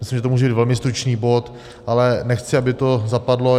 Myslím, že to může být velmi stručný bod, ale nechci, aby to zapadlo.